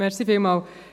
Entschuldigen Sie!